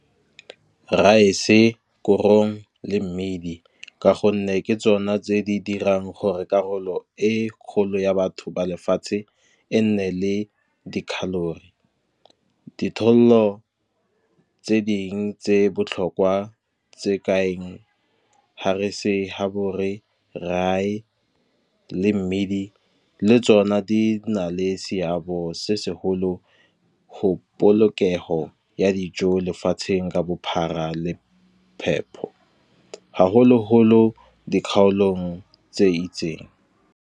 Rice-e korong le mmidi ka gonne ke tsona tse di dirang gore karolo e kgolo ya batho ba lefatshe e nne le dikgalore. Ditholo tse dingwe tse botlhokwa tse ka eng le mmidi le tsona di na le seabe se segolo, go polokego ya dijo lefatsheng ka bophara le phepho. Haholoholo di kgaolong tse itseng.